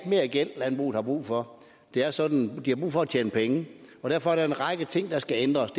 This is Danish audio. mere gæld landbruget har brug for det er sådan at de har brug for at tjene penge og derfor er der en række ting der skal ændres